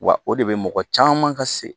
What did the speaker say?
Wa o de bɛ mɔgɔ caman ka se